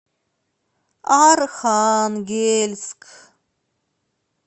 архангельск